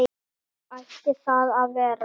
Þannig ætti það að vera.